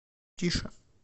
тише